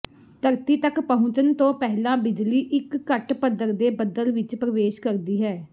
ਧਰਤੀ ਤੱਕ ਪਹੁੰਚਣ ਤੋਂ ਪਹਿਲਾਂ ਬਿਜਲੀ ਇੱਕ ਘੱਟ ਪੱਧਰ ਦੇ ਬੱਦਲ ਵਿੱਚ ਪਰਵੇਸ਼ ਕਰਦੀ ਹੈ